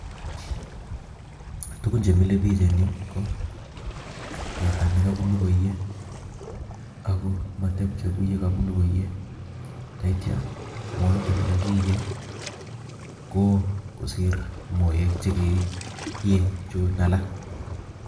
Tugun chemile ko teta nee kabunu koiyee ak ko matebche kou mabunu koiyee ndaitia Moita nee kakiinye ko oo kosir moek che inyee Chun alaak